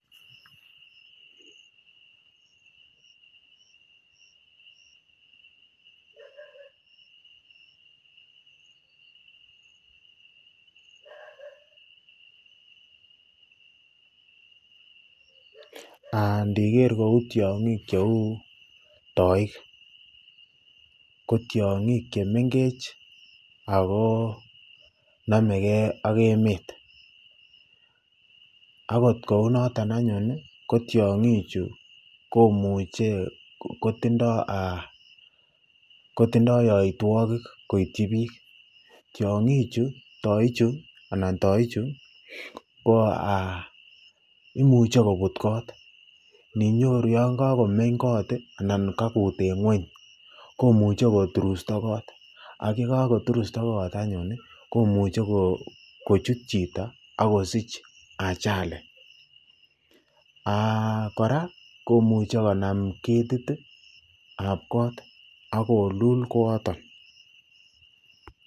indiker kouu tiong'ik cheuu toik ko tiong'ik chemeng'ech ak ko nomeke ak emet, akot kou noton anyun ko tiong'ichu komuche kotindo yoitwokik koityi biik, tiong'ichu toichu anan toichu ko imuche kobut koot, ininyoru yoon kokomeny koot anan kakuut en ngweny komuche koturusto koot ak yekokoturto koot anyun komuche kochut chito ak kosich ajali, kora komuche konam ketitab koot ak kolul kooton.